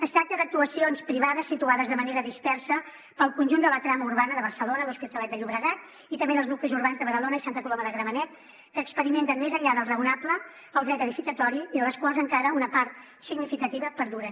es tracta d’actuacions privades situades de manera dispersa pel conjunt de la trama urbana de barcelona l’hospitalet de llobregat i també en els nuclis urbans de badalona i santa coloma de gramenet que experimenten més enllà del raonable el dret edificatori i de les quals encara una part significativa perduren